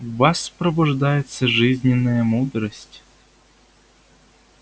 в вас пробуждается жизненная мудрость